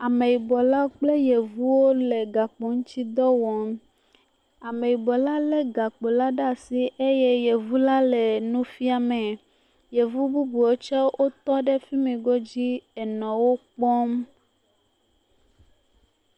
Ameyibɔla kple Yevuwo ɖe le gakpoŋuti dɔ wɔm. Ameyibɔla lé gakpola ɖe asi eye Yevula le nu fiamee. Yevu bubuwo tsɛ wotɔ ɖe fi mii godzi enɔ wo kpɔm.